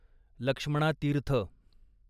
Lakshmana Tirtha